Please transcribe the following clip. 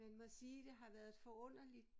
Man må sige det har været et forunderligt